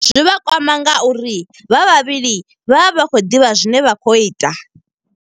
Zwi vha kwama nga uri vha vhavhili vha vha vha khou ḓivha zwine vha khou ita.